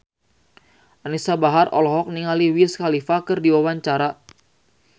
Anisa Bahar olohok ningali Wiz Khalifa keur diwawancara